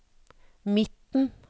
midten